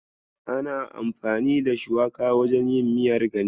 Ana amfani da shuwaka wajen yin miyar ganye.